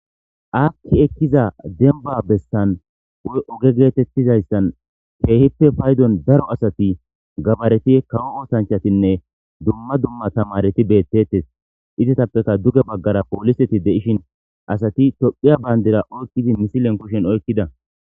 Akki ekkiza denba bessan woy oge geetettizayssan keehippe paydon daro asati gabareti kawo ootanchatinne dumma dumma tamareti beettetes izatappeka duge baggara pooliseti deishin asati tophiya bayndira oykkidi misilen kushen oykkida